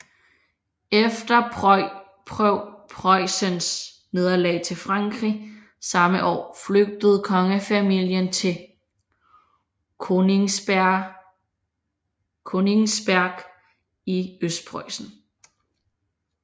Efter Preussens nederlag til Frankrig samme år flygtede kongefamilien til Königsberg i Østpreussen